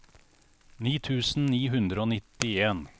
ni tusen ni hundre og nittien